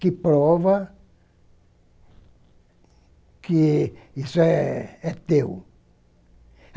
que prova que isso é é teu.